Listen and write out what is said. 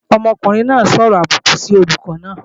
Ọmọkùnrin náà ó sọ̀rọ̀ àbùkù sí olùkọ́ náà